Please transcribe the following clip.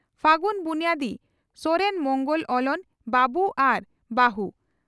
ᱯᱷᱟᱹᱜᱩᱱ ᱵᱩᱱᱭᱟᱹᱫᱤ ᱥᱚᱦᱮᱛ ᱢᱚᱝᱜᱚᱞ (ᱚᱞᱚᱱ) ᱵᱟᱵᱩ ᱟᱨ ᱵᱟᱹ ᱦᱩ